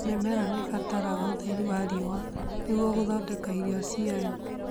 Mĩmera nĩirabatara ũtheri wa riũa nĩguo gũthondeka irio ciayo